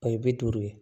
O ye bi duuru ye